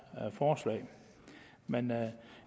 forslag men